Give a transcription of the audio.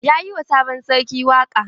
Ya yi wa sabon sarki waƙa?